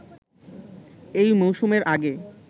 এই মৌসুমের আগে